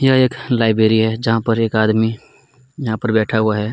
यह एक लाईब्रेरी है जहाँ पर एक आदमी यहाँ पर बैठा हुआ हैं।